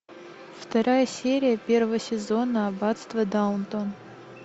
вторая серия первого сезона аббатство даунтон